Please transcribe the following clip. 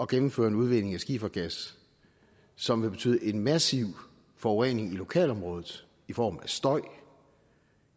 gennemføre en udvinding af skifergas som vil betyde en massiv forurening i lokalområdet i form af støj og